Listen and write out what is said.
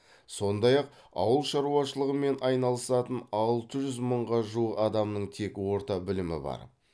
сондай ақ ауыл шаруашылығымен айналысатын алты жүз мыңға жуық адамның тек орта білімі бар